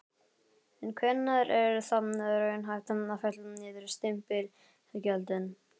En hvenær er þá raunhæft að fella niður stimpilgjöldin?